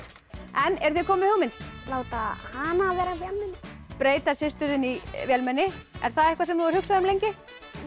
en eruð þið komin með hugmynd láta hana vera vélmenni breyta systur þinni í vélmenni er það eitthvað sem þú hefur hugsað um lengi